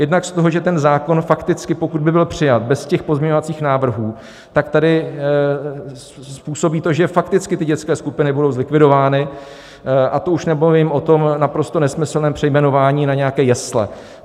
Jednak z toho, že ten zákon fakticky, pokud by byl přijat bez těch pozměňovacích návrhů, tak tady způsobí to, že fakticky ty dětské skupiny budou zlikvidovány, a to už nemluvím o tom naprosto nesmyslném přejmenování na nějaké jesle.